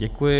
Děkuji.